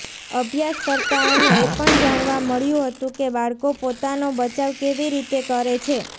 અભ્યાસકર્તાઓને એ પણ જાણવા મળ્યું હતું કે બાળકો પોતાનો બચાવ કેવી રીતે કરે છે